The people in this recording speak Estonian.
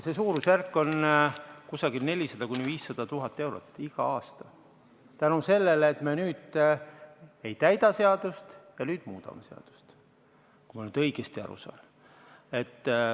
See suurusjärk on 400 000 – 500 000 eurot igal aastal, selle tõttu, et me nüüd ei täida seadust ja nüüd muudame seadust, kui ma nüüd õigesti aru saan.